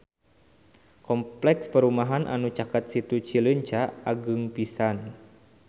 Kompleks perumahan anu caket Situ Cileunca agreng pisan